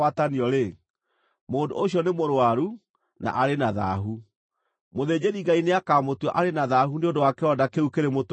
mũndũ ũcio nĩ mũrũaru na arĩ na thaahu. Mũthĩnjĩri-Ngai nĩakamũtua arĩ na thaahu nĩ ũndũ wa kĩronda kĩu kĩrĩ mũtwe wake.